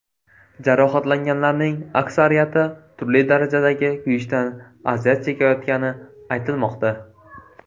Jarohatlanganlarning aksariyati turli darajadagi kuyishdan aziyat chekayotgani aytilmoqda.